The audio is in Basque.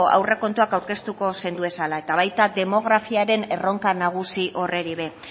aurrekontuak aurkeztuko zenduezala eta baita demografiaren erronka nagusi horri ere